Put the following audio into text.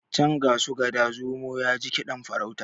can ga su gada zomo ya ji kiɗan farauta